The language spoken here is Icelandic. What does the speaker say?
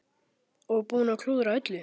Og búinn að klúðra öllu!